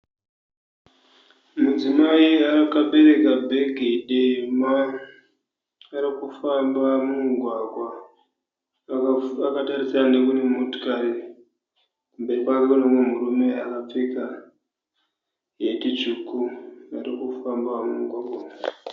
Mudzimai akabereka bhegi dema arikufamba mumugwagwa akatarisana nekune motikari. Kumberi kwake kune mumwe murume akapfeka heti tsvuku arikufamba mumugwagwa umu.